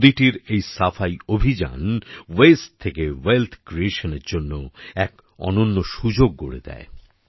নদীটির এই সাফাই অভিযান ওয়াস্তে থেকে ওয়েলথ ক্রিয়েশনের এক অনন্য সুযোগ গড়ে দেয়